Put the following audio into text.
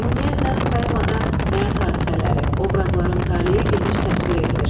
Ümumiyyətlə, poemada həyat hadisələri, obrazların taleyi geniş təsvir edilir.